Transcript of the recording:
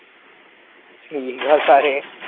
ਠੀਕ ਆ ਸਾਰੇ।